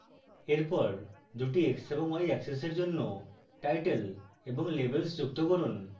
এরপর দুটি x এবং y axes এর জন্য title এবং labels যুক্ত করুন